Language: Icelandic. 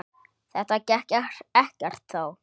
Þetta gekk ekkert þá.